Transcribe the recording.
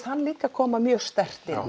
hann líka koma mjög sterkt inn já